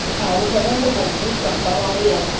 આવું કરે ને તો બહુ જ કંટાળો આવે યાર